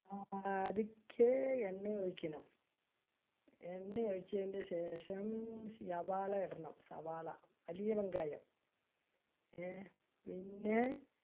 ആ ആദിക്കെ, എണ്ണ ഒഴിക്കണം . എണ്ണ ഒഴിച്ചതിന്റെ ശേഷം, സവാള ഇടണം സവാള വലിയ വെങ്കായം. ഏർ പിന്നെ